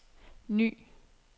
ny